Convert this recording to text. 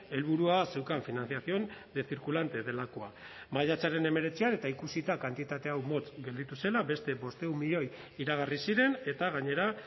helburua zeukan financiación de circulante delakoa maiatzaren hemeretzian eta ikusita kantitatea motz gelditu zela beste bostehun milioi iragarri ziren eta gainera